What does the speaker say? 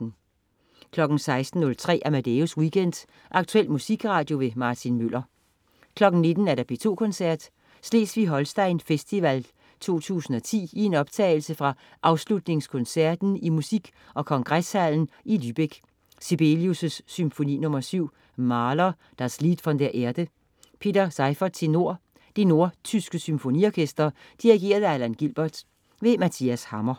16.03 Amadeus Weekend. Aktuel musikradio. Martin Møller 19.00 P2 Koncerten. Slesvig Holsten Festival 2010, i en optagelse fra afslutningskoncerten i Musik og Kongreshallen i Lübeck Sibelius: Symfoni nr. 7. Mahler: Das Lied von der Erde. Peter Seiffert, tenor. Det nordtyske Symfoniorkester. Dirigent: Alan Gilbert. Mathias Hammer